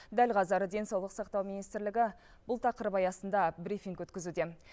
дәл қазір денсаулық сақтау министрлігі бұл тақырып аясында брифинг өткізуде